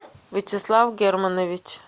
вячеслав германович